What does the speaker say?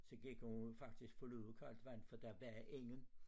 Så gik hun faktisk for lud og koldt vand for der var ingen